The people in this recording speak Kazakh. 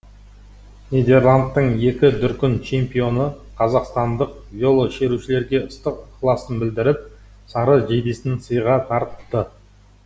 нидерландтың екі дүркін чемпионы қазақстандық велошерушілерге ыстық ықыласын білдіріп сары жейдесін сыйға тартты